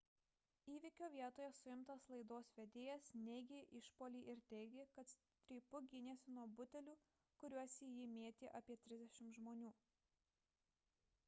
įvykio vietoje suimtas laidos vedėjas neigė išpuolį ir teigė kad strypu gynėsi nuo butelių kuriuos į jį mėtė apie trisdešimt žmonių